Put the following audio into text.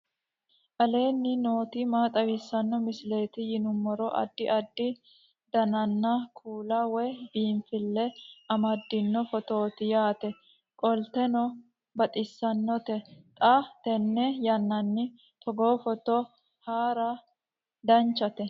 aleenni nooti maa xawisanno misileeti yinummoro addi addi dananna kuula woy biinsille amaddino footooti yaate qoltenno baxissannote xa tenne yannanni togoo footo haara danvchate